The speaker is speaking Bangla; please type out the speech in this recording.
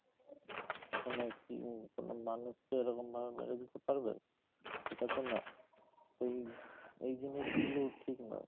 মানে কি কোনো মানুষকে এরকম ভাবে মেরে দিতে পারবে? এটা তো না, এই, এই জিনিস গুলো ঠিক নয়।